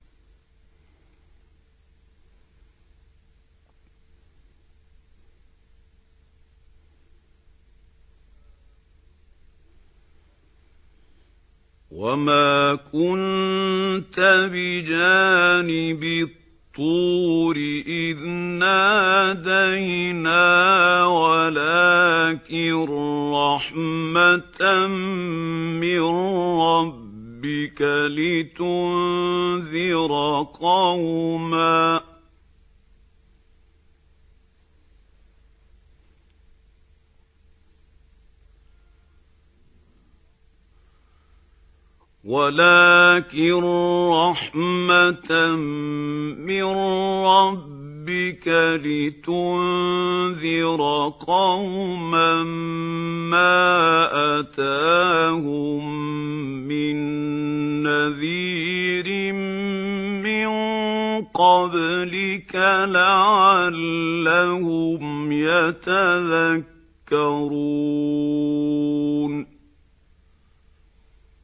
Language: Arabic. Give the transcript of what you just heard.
وَمَا كُنتَ بِجَانِبِ الطُّورِ إِذْ نَادَيْنَا وَلَٰكِن رَّحْمَةً مِّن رَّبِّكَ لِتُنذِرَ قَوْمًا مَّا أَتَاهُم مِّن نَّذِيرٍ مِّن قَبْلِكَ لَعَلَّهُمْ يَتَذَكَّرُونَ